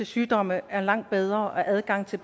sygdomme er langt bedre og adgangen til